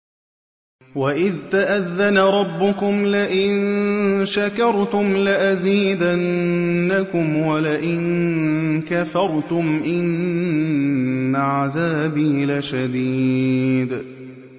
وَإِذْ تَأَذَّنَ رَبُّكُمْ لَئِن شَكَرْتُمْ لَأَزِيدَنَّكُمْ ۖ وَلَئِن كَفَرْتُمْ إِنَّ عَذَابِي لَشَدِيدٌ